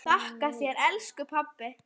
Þakka þér elsku pabbi.